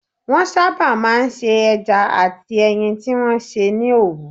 Wọ́n sábà máa ń se ẹja àti ẹyin tí wọ́n sè ní òwú